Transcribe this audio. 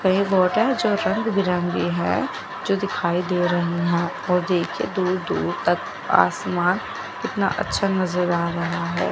कई बोट है जो रंग बिरंगे है जो दिखाई दे रही है वो देखिये दूर दूर तक आसमान कितना अच्छा नज़र आ रहा है।